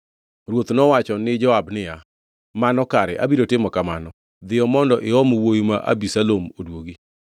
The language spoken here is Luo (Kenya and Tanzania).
Ruoth nowacho ni Joab niya, “Mano kare, abiro timo kamano. Dhiyo mondo iom wuowi ma Abisalom oduogi.”